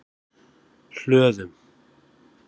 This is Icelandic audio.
Hlöðum